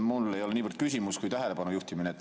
Mul ei ole niivõrd küsimus, kuivõrd tähelepanek.